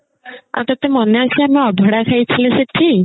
ଆଉ ତତେ ମନେ ଅଛି ଆମେ ଅଭଡା ଖାଇଥିଲେ ସେଠି